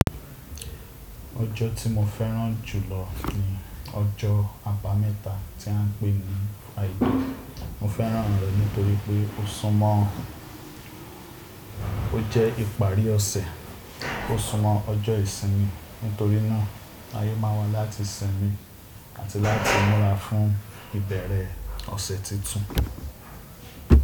Ọjọ́ tí mo fẹ́ràn jù lọ ni ọjọ́ àbámẹ́ta tí à ń pè ní àìdí. Mo fẹ́ràn rẹ̀ nítorí pé ó sún mọ́ ó jẹ́ ìparí ọ̀sẹ̀, ó súnmọ́ ọjọ́ ìsinmi. Nítorí náà ààyè máa wà láti sinmi àti láti múra fún ìbẹ̀rẹ̀ ọ̀sẹ̀ tuntun.